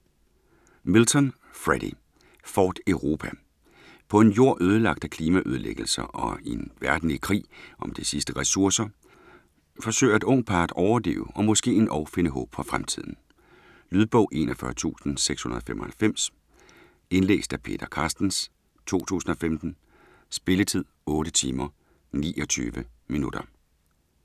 Milton, Freddy: Fort Europa På en Jord ødelagt af klimaødelæggelser, og en verden i krig om de sidste ressourcer, forsøger et ungt par at overleve og måske endog finde håb for fremtiden. Lydbog 41695 Indlæst af Peter Carstens, 2015. Spilletid: 8 timer, 29 minutter.